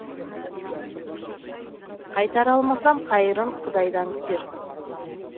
қайтара алмасам қайырын құдайдан күтерсің